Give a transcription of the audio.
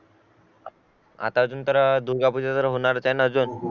आता अजून तर दुर्गा पूजा तर होणारच आहे ना अजून